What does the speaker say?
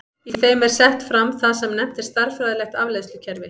Í þeim er sett fram það sem nefnt er stærðfræðilegt afleiðslukerfi.